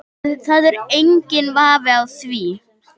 Það er enginn vafi á því